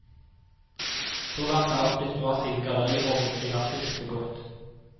Så langt er alt blitt bra siden galleriorglet klinger friskt og godt.